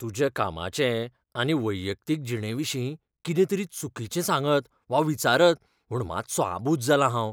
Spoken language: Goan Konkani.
तुज्या कामाचे आनी वैयक्तीक जिणेविशीं कितें तरी चुकीचें सांगत वा विचारत म्हूण मातसों आबूज जालां हांव.